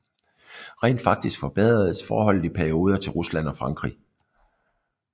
Rent faktisk forbedredes forholdet i perioder til Rusland og Frankrig